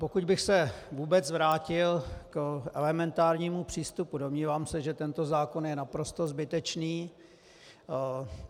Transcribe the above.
Pokud bych se vůbec vrátil k elementárnímu přístupu, domnívám se, že tento zákon je naprosto zbytečný.